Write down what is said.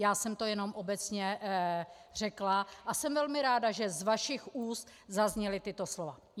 Já jsem to jen obecně řekla a jsem velmi ráda, že z vašich úst zazněla tato slova.